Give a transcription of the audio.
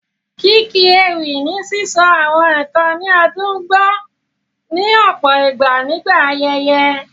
Kíkí ewì ni sísọ àwọn nǹkan ní ó dùn gbọ́, ní ọ̀pọ̀ ìgbà nígbà ayẹyẹ.